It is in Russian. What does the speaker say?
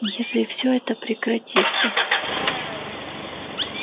если всё это прекратится